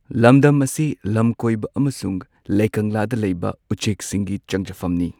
ꯂꯝꯗꯝ ꯑꯁꯤ ꯂꯝꯀꯣꯏꯕ ꯑꯃꯁꯨꯡ ꯂꯩꯀꯪꯂꯥꯗ ꯂꯩꯕ ꯎꯆꯦꯛꯁꯤꯡꯒꯤ ꯆꯪꯖꯐꯝꯅꯤ꯫